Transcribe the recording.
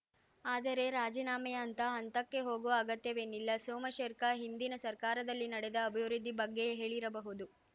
ಆದರೆ ರಾಜೀನಾಮೆಯಂತಹ ಹಂತಕ್ಕೆ ಹೋಗುವ ಅಗತ್ಯವೇನಿಲ್ಲ ಸೋಮಶೇರ್ಖ ಹಿಂದಿನ ಸರ್ಕಾರದಲ್ಲಿ ನಡೆದ ಅಭಿವೃದ್ಧಿ ಬಗ್ಗೆ ಹೇಳಿರಬಹುದು